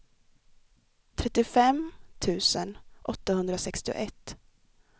trettiofem tusen åttahundrasextioett